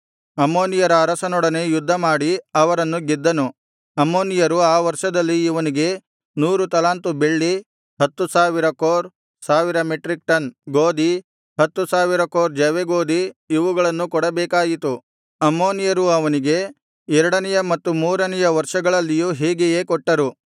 ಅಮ್ಮೋನಿಯರ ಅರಸರೊಡನೆ ಯುದ್ಧ ಮಾಡಿ ಅವರನ್ನು ಗೆದ್ದನು ಅಮ್ಮೋನಿಯರು ಆ ವರ್ಷದಲ್ಲಿ ಇವನಿಗೆ ನೂರು ತಲಾಂತು ಬೆಳ್ಳಿ ಹತ್ತು ಸಾವಿರ ಕೋರ್ ಸಾವಿರ ಮೆಟ್ರಿಕ್ ಟನ್ ಗೋದಿ ಹತ್ತು ಸಾವಿರ ಕೋರ್ ಜವೆಗೋದಿ ಇವುಗಳನ್ನು ಕೊಡಬೇಕಾಯಿತು ಅಮ್ಮೋನಿಯರು ಅವನಿಗೆ ಎರಡನೆಯ ಮತ್ತು ಮೂರನೆಯ ವರ್ಷಗಳಲ್ಲಿಯೂ ಹೀಗೆಯೇ ಕೊಟ್ಟರು